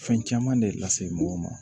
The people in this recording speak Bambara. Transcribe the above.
Fɛn caman de lase mɔgɔw ma